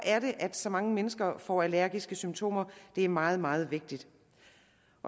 så mange mennesker får allergiske symptomer er meget meget vigtigt